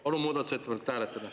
Palun muudatusettepanekut hääletada.